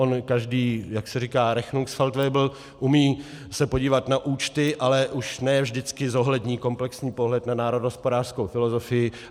On každý, jak se říká, rechnungsfeldwebel umí se podívat na účty, ale už ne vždycky zohlední komplexní pohled na národohospodářskou filozofii.